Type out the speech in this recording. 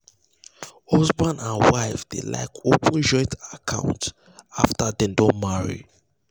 husband and wife dey like open joint account after dem don marry.